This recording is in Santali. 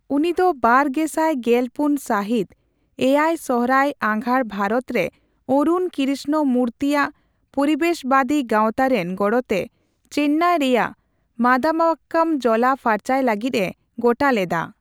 ᱩᱱᱤ ᱫᱚ ᱵᱟᱨ ᱜᱮᱥᱟᱭ ᱜᱮᱞ ᱯᱩᱱ ᱥᱟᱹᱦᱤᱛ ᱗ᱮᱭᱟᱭᱥᱚᱦᱨᱟᱭᱼᱟᱜᱷᱟᱲ ᱵᱷᱟᱨᱚᱛᱨᱮ ᱚᱨᱩᱱ ᱠᱤᱨᱤᱥᱱᱚ ᱢᱩᱨᱛᱤ ᱟᱜ ᱯᱩᱨᱤᱵᱮᱥᱵᱟᱫᱤ ᱜᱟᱸᱣᱛᱟ ᱨᱮᱱ ᱜᱚᱲᱚᱛᱮ ᱪᱮᱱᱱᱟᱭ ᱨᱮᱭᱟᱜ ᱢᱟᱫᱟᱢᱵᱟᱠᱠᱟᱢ ᱡᱚᱞᱟ ᱯᱷᱟᱨᱪᱟᱭ ᱞᱟᱹᱜᱤᱫ ᱮ ᱜᱚᱴᱟ ᱞᱮᱫᱟ ᱾